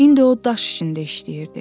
İndi o daş içində işləyirdi.